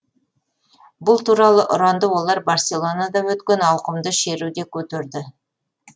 бұл туралы ұранды олар барселонада өткен ауқымды шеруде көтерді